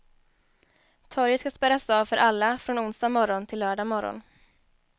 Torget ska spärras av för alla från onsdag morgon till lördag morgon.